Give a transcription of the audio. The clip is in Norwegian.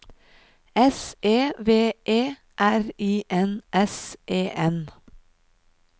S E V E R I N S E N